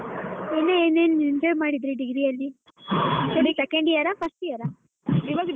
ಇನ್ನ್ ಏನ್ ಏನ್ enjoy ಮಾಡಿದ್ರಿ degree ಅಲ್ಲಿ second year ಆ first year ಆ?